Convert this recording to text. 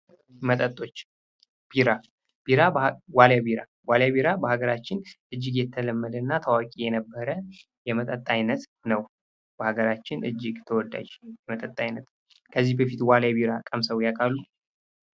መጠጦች ቢራ ዋሊያ ቢራ በሀገራችን እጅግ የተለመደና ታዋቂ የነበረ የመጠጥ አይነት ነው። በሀገራችን እጅግ ተወዳጅ የመጠጥ አይነት ነው። ከዚህ በፊት ዋሊያ ቢራ ቀምሰው ?